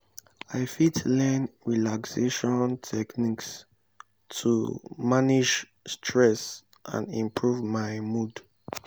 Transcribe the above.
i fit learn relaxation techniques to manage stress and improve my mood.